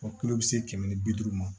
tulo bi se kɛmɛ ni bi duuru ma